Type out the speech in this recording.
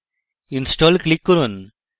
install click করুন